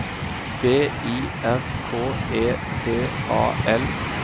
B I R K E D A L